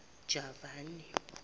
javani